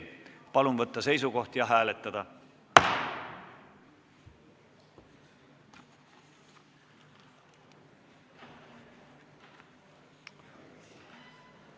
Palun võtta seisukoht ja hääletada!